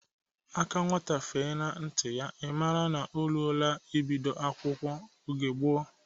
Aka nwata gafee n'nti ya, ị maara nọ ọ ruola e bido akwụkwọ oge gboo